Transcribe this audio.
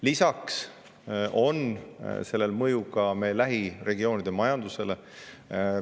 Lisaks on sellel mõju ka meie lähiregioonide majandusele.